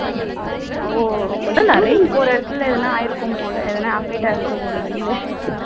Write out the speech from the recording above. ஓ அப்போ urine போற இடத்துல ஏதோ ஆயிருக்கும் போல affect ஆயிருக்கும் போல வெளியில